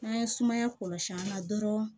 N'an ye sumaya kɔlɔsi an la dɔrɔn